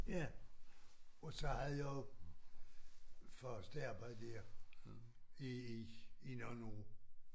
Ja og så havde jeg jo fast arbejde der i i nogle år